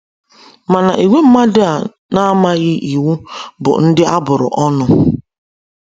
Mana ìgwè mmadụ a na-amaghị Iwu bụ ndị a bụrụ ọnụ.